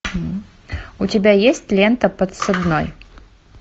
у тебя есть лента подсадной